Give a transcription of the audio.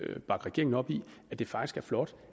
vil bakke regeringen op i at det faktisk er flot